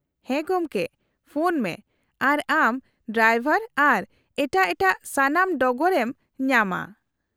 -ᱦᱮᱸ ᱜᱚᱢᱠᱮ, ᱯᱷᱳᱱ ᱢᱮ ᱟᱨ ᱟᱢ ᱰᱟᱭᱵᱚᱨ ᱟᱨ ᱮᱴᱟᱜ ᱮᱴᱟᱜ ᱥᱟᱱᱟᱢ ᱰᱚᱜᱚᱨ ᱮᱢ ᱧᱟᱢᱟ ᱾